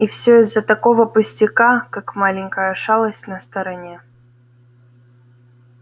и все из-за такого пустяка как маленькая шалость на стороне